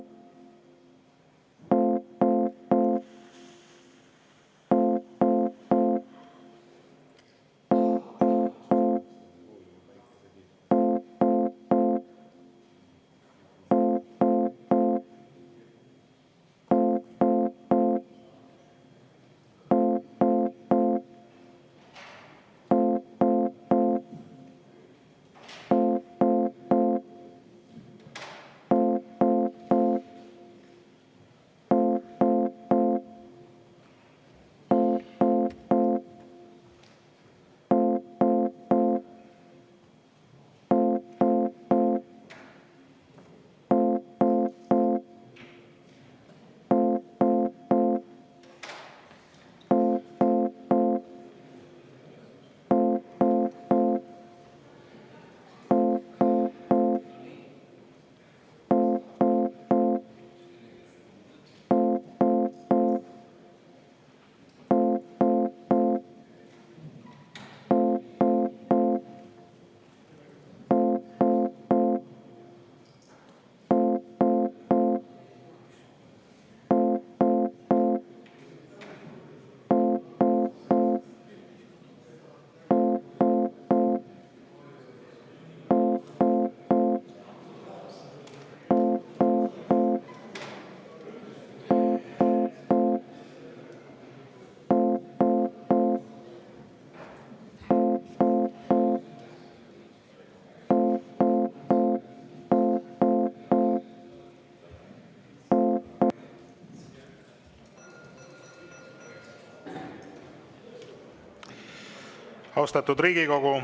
Austatud Riigikogu!